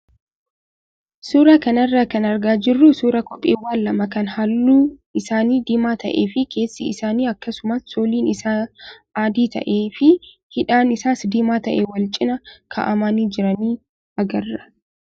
Suuraa kanarraa kan argaa jirru suuraa kopheewwan lama kan halluun isaanii diimaa ta'ee fi keessi isaa akkasumas sooliin isaa adii ta'ee fi hidhaan isaas diimaa ta'ee wal cinaa kaa'amanii jiranii agarra.